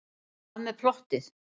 Hvað með plottið?